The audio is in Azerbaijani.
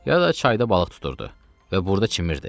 Ya da çayda balıq tuturdu və burda çimirdi.